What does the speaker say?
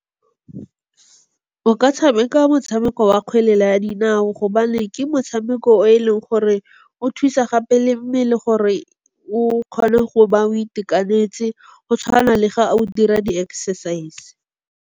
O ka tshameka motshameko wa kgwele ya dinao gobane ke motshameko o e leng gore o thusa gape le mmele gore o kgone go ba o itekanetse go tshwana le ga o dira di-exercise.